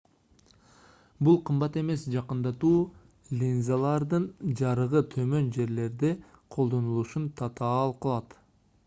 бул кымбат эмес жакындатуу линзалардын жарыгы төмөн жерлерде колдонулушун татаал кылат